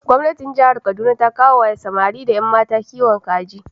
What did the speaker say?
Gwamnatin jihar Kaduna ta koya wa samari da yammata kiwon kaji.